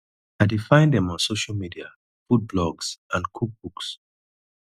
i dey find dem on social media food blogs and cook books